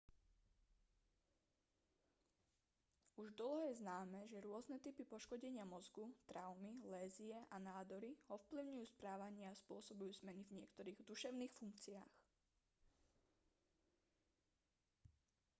už dlho je známe že rôzne typy poškodenia mozgu traumy lézie a nádory ovplyvňujú správanie a spôsobujú zmeny v niektorých duševných funkciách